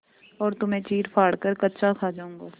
और तुम्हें चीरफाड़ कर कच्चा खा जाऊँगा